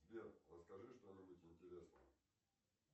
сбер расскажи что нибудь интересное